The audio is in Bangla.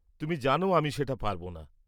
তুমি জানো আমি সেটা পারব না।